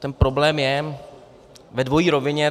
Tento problém je ve dvojí rovině.